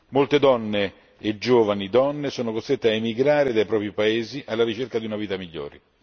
Molte donne e giovani donne sono costrette a emigrare dai propri paesi alla ricerca di una vita migliore.